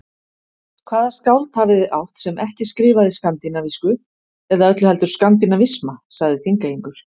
Hvaða skáld hafið þið átt, sem ekki skrifaði skandinavísku eða öllu heldur skandinavisma, sagði Þingeyingur.